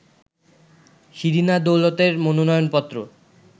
শিরিনা দৌলতের মনোনয়নপত্র